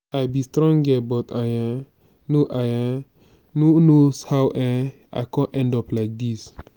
i be strong girl but i um no i um no know how um i come end up like dis